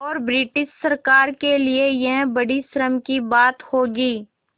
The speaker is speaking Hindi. और ब्रिटिश सरकार के लिये यह बड़ी शर्म की बात होगी